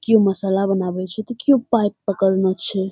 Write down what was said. कियो मसाला बनावे छै ते कियो पाइप पकड़ला छै ।